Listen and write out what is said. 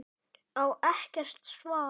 Á ekkert svar.